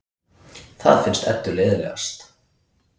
Það finnst Eddu leiðinlegast.